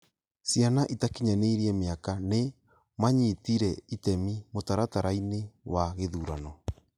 Ciana itakinyanĩirie miaka nĩ maanyitire itemi mũtaratara-inĩ wa gĩthurano.